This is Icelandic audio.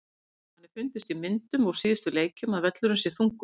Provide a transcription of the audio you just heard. Svo hefur manni fundist í myndum úr síðustu leikjum að völlurinn sé þungur.